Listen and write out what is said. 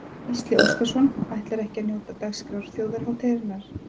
Gísli Óskarsson: Ætlarðu ekki að njóta dagskrár þjóðhátíðarinnar?